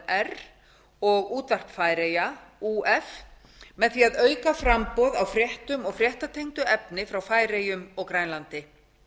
knr og útvarp færeyja á með því að auka framboð á fréttum og fréttatengdu efni frá færeyjum og grænlandi